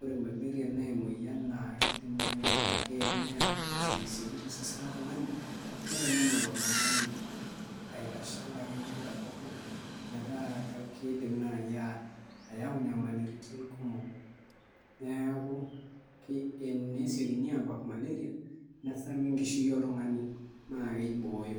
ore malaria na emoyian na kidim nai ataa emoyian naa neya asiokisioki tosesen loltungani nitanyamal oltungani aitasha akeyie katukul metaa kidim nai ayau nyamalitin kumok neaku tenesiekini abak malaria nesaru enkishui oltungani na keibooyo.